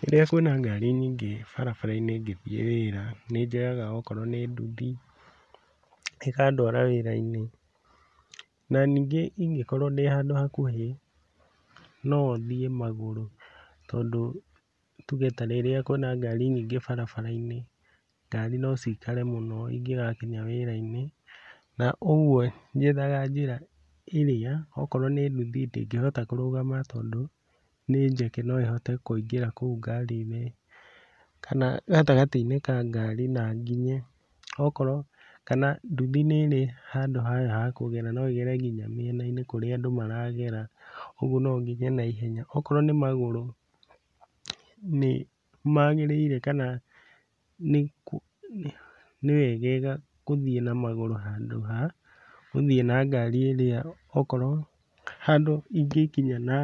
Rĩrĩa kwĩna ngari nyingĩ barabara-inĩ ngĩthiĩ wĩra nĩnjoyaga okorwo nĩ nduthi, ĩkandwara wĩra-inĩ, na ningĩ ingĩkorwo ndĩ handũ hakuhĩ no thiĩ magũrũ tondũ tuge ta rĩrĩa kwĩna ngari nyingĩ barabara-inĩ, ngari no cikare mũno ingĩgakinya wĩra-inĩ, na ũguo njethaga njĩra ĩrĩa okorwo nĩ nduthi ndĩngĩhota kũrũgama tondũ nĩ njeke no ĩhote kũingĩra kũu ngari-inĩ, kana gatagatĩ-inĩ ka ngari na nginye. Okorwo kana nduthi nĩrĩ handũ hayo ha kũgera no ĩgere kinya mĩena-inĩ kũrĩa andũ maragera ũguo no nginye naiehenya. Okorwo nĩ magũrũ nĩmagĩrĩire kana nĩwegega gũthiĩ na magũrũ handũ ha gũthiĩ na ngari ĩrĩa okorwo handũ ingĩkinya na